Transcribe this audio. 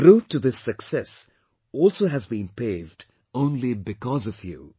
The route to this success also has been paved only because of you